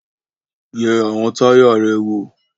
Yẹ àwọn táyà rẹ wò!